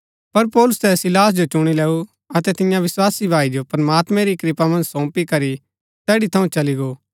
पर पौलुसै सीलास जो चुणी लैऊ अतै तियां विस्वासी भाई जो प्रमात्मैं री कृपा मन्ज सौंपी करी तैड़ी थऊँ चली गो